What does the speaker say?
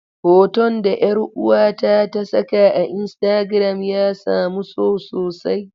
Hoton da 'yar uwata ta saka a Instagram ya samu so sosai.